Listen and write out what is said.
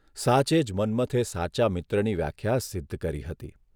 સાચે જ મન્મથે સાચા મિત્રની વ્યાખ્યા સિદ્ધ કરી હતી !